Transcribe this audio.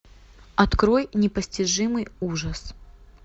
открой непостижимый ужас